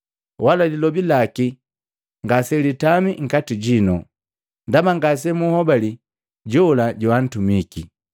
wala lilobi laki ngaselitama nkati jinu, ndaba ngase munhobali jola joantumike.